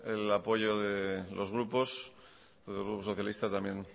el apoyo de los grupos el grupo socialista también